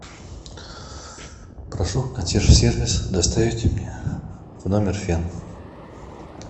прошу консьерж сервис доставить мне в номер фен